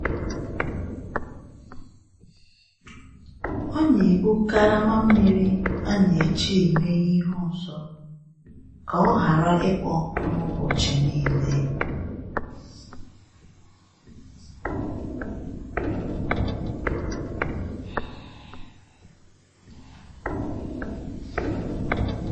Ọ na-ebu karama mmiri a na-eji eme ihe ọzọ ka ọ ghara ịkpọ nkụ n'ụbọchị niile.